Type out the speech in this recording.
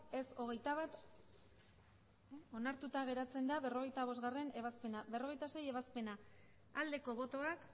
ez hogeita bat onartuta geratzen da berrogeita bostgarrena ebazpena berrogeita seigarrena ebazpena aldeko botoak